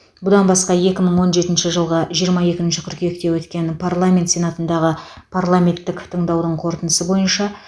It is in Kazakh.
бұдан басқа екі мың он жетінші жылғы жиырма екінші қыркүйекте өткен парламент сенатындағы парламенттік тыңдаудың қорытындысы бойынша